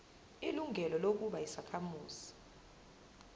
ilungelo lokuba yisakhamuzi